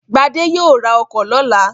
Gbadé yóò ra ọkọ̀ lọ́la.